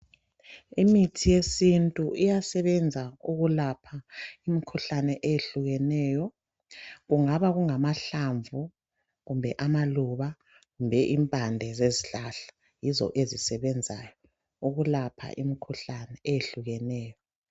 Imithi yesintu iyasebenza ukulapha imikhuhlane eyehlukeneyo. Kungaba kungamahlamvu ,kumbe amaluba ,kumbe impande zezihlahla. Yizo ezisebenzayo ukulapha imikhuhlane eyehlukeneyo.